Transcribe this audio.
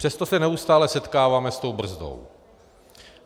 Přesto se neustále setkáváme s tou brzdou.